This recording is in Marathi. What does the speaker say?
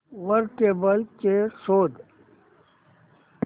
वर टेबल चेयर शोध